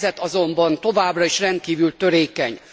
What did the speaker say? A helyzet azonban továbbra is rendkívül törékeny.